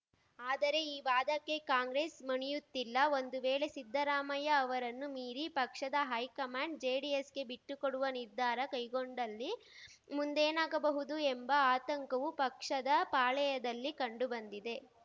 ಆದರೆ ಈ ವಾದಕ್ಕೆ ಕಾಂಗ್ರೆಸ್‌ ಮಣಿಯುತ್ತಿಲ್ಲ ಒಂದು ವೇಳೆ ಸಿದ್ದರಾಮಯ್ಯ ಅವರನ್ನು ಮೀರಿ ಪಕ್ಷದ ಹೈಕಮಾಂಡ್‌ ಜೆಡಿಎಸ್‌ಗೆ ಬಿಟ್ಟುಕೊಡುವ ನಿರ್ಧಾರ ಕೈಗೊಂಡಲ್ಲಿ ಮುಂದೇನಾಗಬಹುದು ಎಂಬ ಆತಂಕವೂ ಪಕ್ಷದ ಪಾಳೆಯದಲ್ಲಿ ಕಂಡು ಬಂದಿದೆ